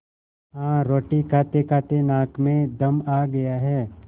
हाँ रोटी खातेखाते नाक में दम आ गया है